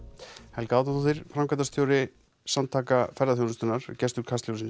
Helga Árnadóttir framkvæmdastjóri Samtaka ferðaþjónustunnar er gestur Kastljóss í